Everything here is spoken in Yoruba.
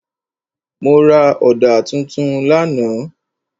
Mo ra ọ̀dà tuntun lánàá.